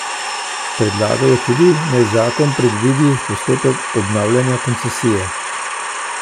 Predlagajo tudi, naj zakon predvidi postopek obnavljanja koncesije.